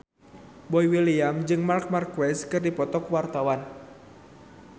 Boy William jeung Marc Marquez keur dipoto ku wartawan